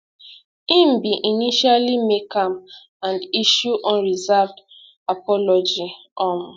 im bin initially make am and issue unreserved apology um